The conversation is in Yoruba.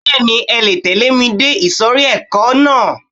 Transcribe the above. Bẹ́ẹ̀ni, ẹ le tẹ̀lẹ́ ẹ dé ìsòrí ẹka náà.